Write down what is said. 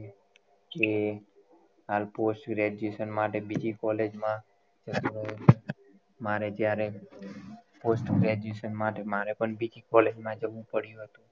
જે હાલ post graduation માટે બીજી college મા મારે જ્યારે post graduation માટે મારે પણ બીજી college માં જવું પડ્યું હતું